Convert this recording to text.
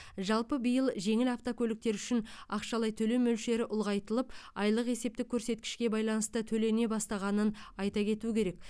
жалпы биыл жеңіл автокөліктер үшін ақшалай төлем мөлшері ұлғайтылып айлық есептік көрсеткішке байланысты төлене бастағанын айта кету керек